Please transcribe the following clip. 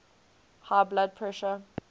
high blood pressure